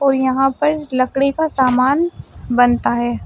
और यहां पर लकड़ी का सामान बनता है।